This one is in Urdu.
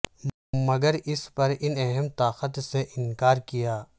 مگر اس پر ان اہم طاقت سے انکار کیا